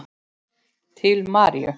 Til Maríu.